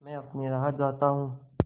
मैं अपनी राह जाता हूँ